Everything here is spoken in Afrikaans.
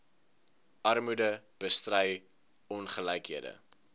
armoede bestry ongelykhede